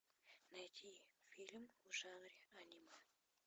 найди фильм в жанре аниме